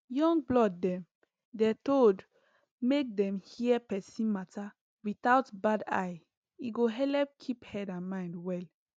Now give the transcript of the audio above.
young blood dem dey told make dem hear persin matter without bad eye e go helep keep head and mind well